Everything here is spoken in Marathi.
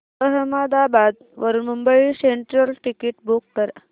अहमदाबाद वरून मुंबई सेंट्रल टिकिट बुक कर